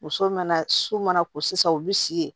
Muso mana so mana ko sisan u bi si ye